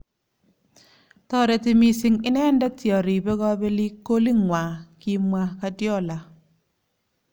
Toreti missing inendet yoribe kobelik kolitng'wa ",kimwa Guardiola.